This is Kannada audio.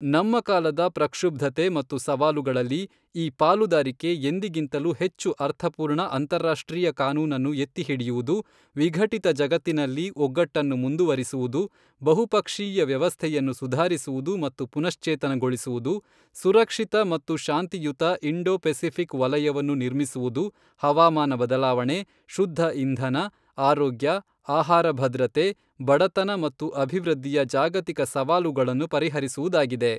ನಮ್ಮ ಕಾಲದ ಪ್ರಕ್ಷುಬ್ಧತೆ ಮತ್ತು ಸವಾಲುಗಳಲ್ಲಿ, ಈ ಪಾಲುದಾರಿಕೆ ಎಂದಿಗಿಂತಲೂ ಹೆಚ್ಚು ಅರ್ಥಪೂರ್ಣ ಅಂತಾರಾಷ್ಟ್ರೀಯ ಕಾನೂನನ್ನು ಎತ್ತಿಹಿಡಿಯುವುದು ವಿಘಟಿತ ಜಗತ್ತಿನಲ್ಲಿ ಒಗ್ಗಟ್ಟನ್ನು ಮುಂದುವರಿಸುವುದು ಬಹುಪಕ್ಷೀಯ ವ್ಯವಸ್ಥೆಯನ್ನು ಸುಧಾರಿಸುವುದು ಮತ್ತು ಪುನಶ್ಚೇತನಗೊಳಿಸುವುದು ಸುರಕ್ಷಿತ ಮತ್ತು ಶಾಂತಿಯುತ ಇಂಡೋ ಪೆಸಿಫಿಕ್ ವಲಯವನ್ನು ನಿರ್ಮಿಸುವುದು ಹವಾಮಾನ ಬದಲಾವಣೆ, ಶುದ್ಧ ಇಂಧನ, ಆರೋಗ್ಯ, ಆಹಾರ ಭದ್ರತೆ, ಬಡತನ ಮತ್ತು ಅಭಿವೃದ್ಧಿಯ ಜಾಗತಿಕ ಸವಾಲುಗಳನ್ನು ಪರಿಹರಿಸುವುದಾಗಿದೆ.